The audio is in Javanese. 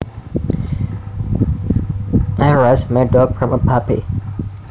I raised my dog from a puppy